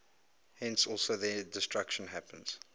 thence also their destruction happens